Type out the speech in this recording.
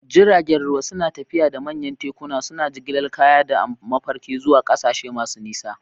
Jiragen ruwa suna tafiya da manyan tekuna, suna jigilar kaya da mafarki zuwa ƙasashe masu nisa.